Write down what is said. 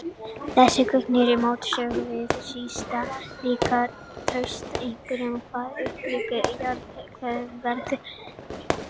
Þessi gögn eru í mótsögn við sístætt líkan Trausta, einkum hvað upphitun jarðhitavatnsins varðar.